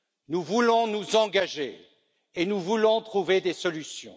Nous voulons nous engager et nous voulons trouver des solutions.